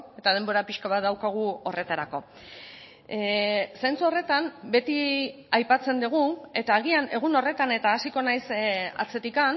eta denbora pixka bat daukagu horretarako zentzu horretan beti aipatzen dugu eta agian egun horretan eta hasiko naiz atzetik